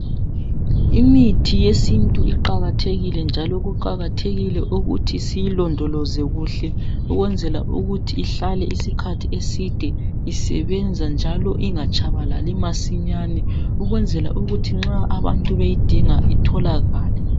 Imithi yesintu iqakathekile njalo kuqakathekile ukuthi siyilondoloze kuhle ukwenzela ukuthi ihlale isikhathi eside isebenza njalo ingatshabalali masinyane ukwenzela ukuthi nxa abantu beyidinga itholakale.